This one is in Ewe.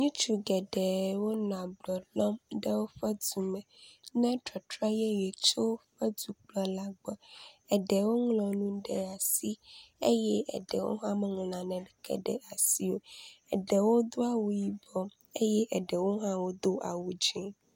Ŋutsu geɖewo nɔ ablɔ lɔm ɖe woƒe du me ne tɔtrɔ yeye tso edukplɔla gbɔ. Eɖewo ŋlɔ nu ɖe asi eye eɖewo hã meŋlɔ naneke ɖe asi o. Eɖewo do awu yibɔ eye eɖewo hã wodo awu dzi.